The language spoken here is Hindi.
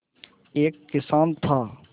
एक किसान था